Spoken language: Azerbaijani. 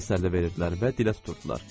Təsəlli verirdilər və dilə tuturdular.